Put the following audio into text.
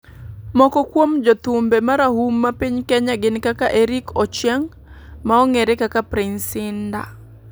Moko kuom jothumbe marahuma piny kenya gin kaka Erick Ochieng, ma ongere kaka Prince Indah